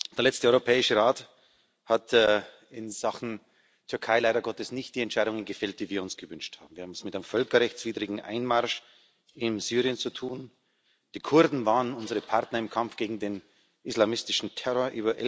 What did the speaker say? Der letzte Europäische Rat hat in Sachen Türkei leider Gottes nicht die Entscheidungen gefällt, die wir uns gewünscht haben. Wir haben es mit einem völkerrechtswidrigen Einmarsch in Syrien zu tun. Die Kurden waren unsere Partner im Kampf gegen den islamistischen Terror.